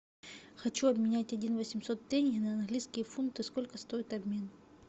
хочу обменять один восемьсот тенге на английские фунты сколько стоит обмен